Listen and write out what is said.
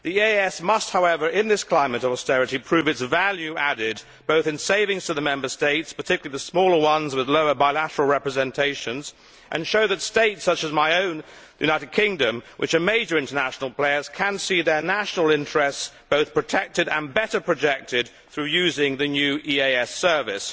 The EEAS must, however, in this climate of austerity prove its value added, both in savings to the Member States, particularly the smaller ones with lower bilateral representations, and show that States such as my own, the United Kingdom, which are major international players, can see their national interests both protected and better projected through using the new EEAS service.